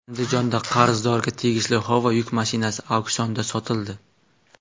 Andijonda qarzdorga tegishli Howo yuk mashinasi auksionda sotildi.